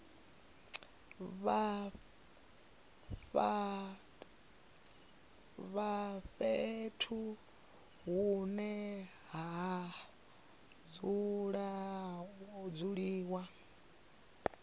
vha fhethu hune ha dzuliwa